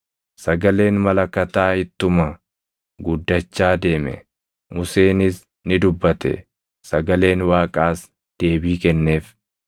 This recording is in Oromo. sagaleen malakataa ittuma guddachaa deeme. Museenis ni dubbate; sagaleen Waaqaas deebii kenneef.